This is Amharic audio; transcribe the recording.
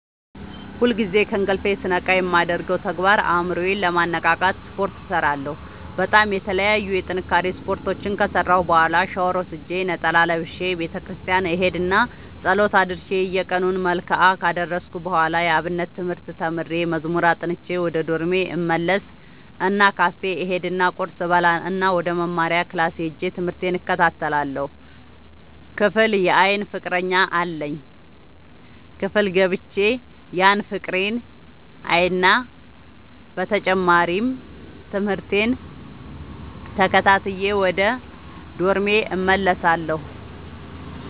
ሁልጊዜ ከእንቅልፎ ስነቃ የማደርገው ተግባር አእምሮ ዬን ለማነቃቃት ስፓርት እሰራለሁ በጣም የተለያዩ የጥንካሬ ስፓርቶችን ከሰራሁ በኋላ ሻውር ወስጄ ነጠላ ለብሼ ቤተክርስቲያን እሄድ እና ፀሎት አድርሼ የየቀኑን መልክአ ካደረስኩ በኋላ የአብነት ትምህርት ተምሬ መዝሙር አጥንቼ ወደ ዶርሜ እመለስ እና ካፌ እሄድ እና ቁርስ እበላእና ወደመማሪያክላስ ሄጄ ትምህቴን እከታተላለሁ። ክፍል የአይን ፍቀረኛ አለኝ ክፍል ገብቼ ያን ፍቅሬን አይና በተጨማሪም ትምህርቴን ተከታትዬ ወደ ዶርሜ እመለሳለሁ።